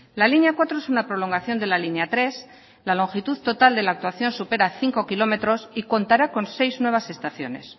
la línea cuatro es una prolongación de la línea tres la longitud total de la actuación supera cinco kilómetros y contará con seis nuevas estaciones